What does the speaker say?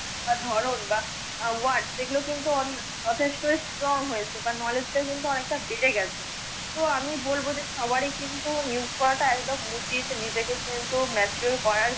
ধরণ বা WORD সে গুলো কিন্তু যথেষ্ট STRONG হয়েছে বা KNOWLEDGH টা অনেকটা বেড়ে গেছে। তো আমি বলব যে সবারি কিন্তু NEWS টা একদম উচিত, নিজেকে কিন্তু MATURED করার জন্য।